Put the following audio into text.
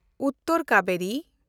Uttar Kaveri